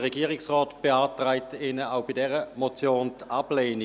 Der Regierungsrat beantragt Ihnen auch bei dieser Motion die Ablehnung.